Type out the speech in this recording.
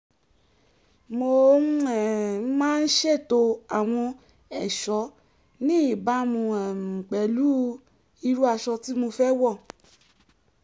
mo um máa ń ṣètò àwọn ẹ̀ṣọ́ ní ìbámu um pẹ̀lú irú aṣọ tí mo fẹ́ wọ̀